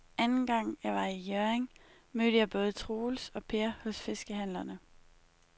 Anden gang jeg var i Hjørring, mødte jeg både Troels og Per hos fiskehandlerne.